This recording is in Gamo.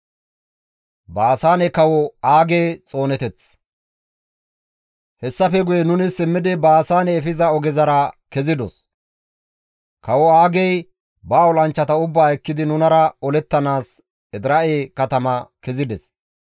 Hessafe guye nuni simmidi Baasaane efiza ogezara kezidos; kawo Aagey ba olanchchata ubbaa ekkidi nunara olettanaas Edira7e katama kezides.